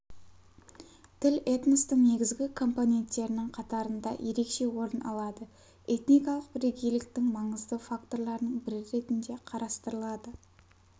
тіл этностың негізгі компоненттерінің қатарында ерекше орын алады этникалық бірегейліктің маңызды факторларының бірі ретінде қарастырылады